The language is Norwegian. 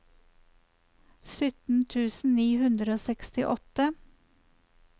sytten tusen ni hundre og sekstiåtte